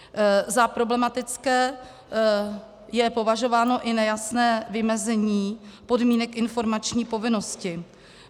Za problematické je považováno i nejasné vymezení podmínek informační povinnosti.